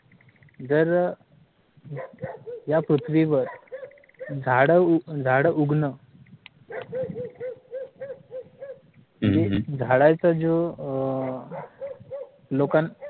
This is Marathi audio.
जर अह या पृथीवर झाड उ झाड उगन झाडाचं जो अह लोकांना